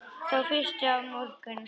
Þá fyrstu af mörgum.